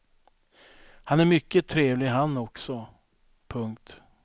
Han är mycket trevlig han också. punkt